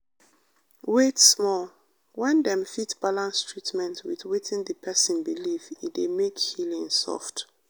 wait small- when dem fit balance treatment with wetin the person believe e dey make healing soft.